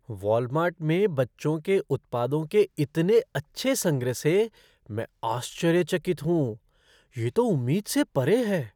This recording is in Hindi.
वॉलमार्ट में बच्चों के उत्पादों के इतने अच्छा संग्रह से मैं आश्चर्यचकित हूँ, ये तो उम्मीद से परे हैं।